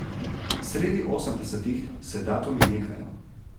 Sredi osemdesetih se datumi nehajo.